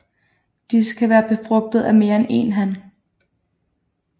Disse kan være befrugtet af mere end én han